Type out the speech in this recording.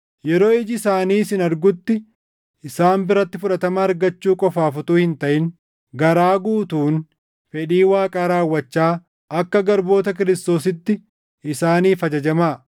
Yeroo iji isaanii isin argutti isaan biratti fudhatama argachuu qofaaf utuu hin taʼin garaa guutuun fedhii Waaqaa raawwachaa akka garboota Kiristoositti isaaniif ajajamaa.